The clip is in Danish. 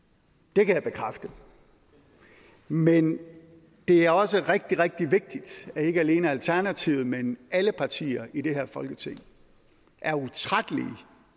det kan jeg bekræfte men det er også rigtig rigtig vigtigt at ikke alene alternativet men alle partier i det her folketing er utrættelige